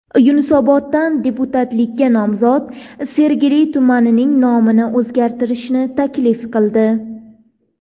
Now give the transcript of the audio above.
Yunusoboddan deputatlikka nomzod Sergeli tumanining nomini o‘zgartirishni taklif qildi .